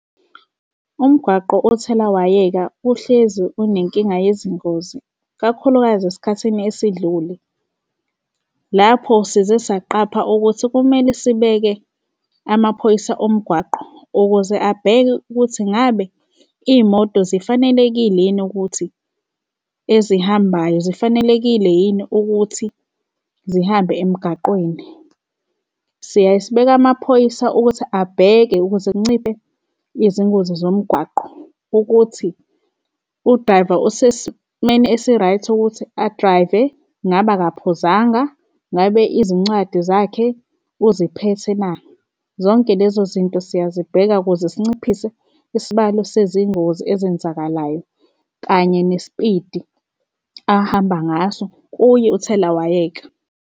Umgwaqo owuthelawayeka uhlezi unenkinga yezingozi, kakhulukazi esikhathini esidlule. Lapho size saqapha ukuthi kumele sibeke amaphoyisa omgwaqo ukuze abheke ukuthi ngabe iy'moto sifanelekile yini ukuthi ezihambayo zifanelekile yini ukuthi zihambe emgaqweni. Siyaye sibeka amaphoyisa ukuthi abheke ukuze kunciphe izingozi zomgwaqo ukuthi u-driver osesimeni esi-right ukuthi a-drive-e ngaba akaphuzanga? Ngabe izincwadi zakhe uziphethe na? Zonke lezo zinto siyazibheka ukuze sinciphise isibalo sezingozi ezenzakalayo kanye nesipidi ahamba ngaso, kuye uthelawayeka.